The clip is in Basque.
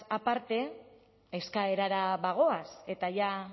aparte eskaerara bagoaz eta ja